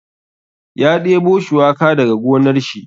Ya ɗebo shuwaka daga gonar shi.